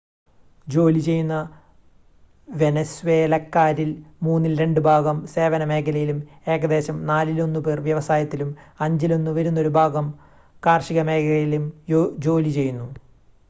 ജോലി ചെയ്യുന്ന വെനസ്വേലക്കാരിൽ മൂന്നിൽ രണ്ട് ഭാഗം സേവന മേഖലയിലും ഏകദേശം നാലിലൊന്ന് പേർ വ്യവസായത്തിലും അഞ്ചിലൊന്ന് വരുന്നൊരു ഭാഗം കാർഷിക മേഖലയിലും ജോലി ചെയ്യുന്നു